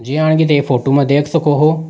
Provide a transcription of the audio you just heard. Photo मा देख सको हो।